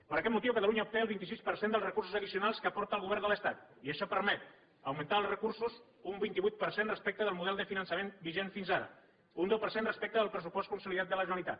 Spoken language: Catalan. per aquest motiu catalunya obté el vint sis per cent dels recursos addicionals que aporta el govern de l’estat i això permet augmentar els recursos un vint vuit per cent respecte del model de finançament vigent fins ara un deu per cent respecte al pressupost consolidat de la generalitat